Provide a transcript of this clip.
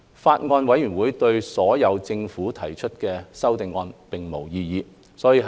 法案委員會對所有政府提出的修正案並無異議。